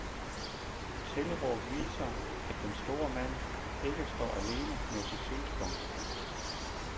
Tilråb viser, at den store mand ikke står alene med sit synspunkt.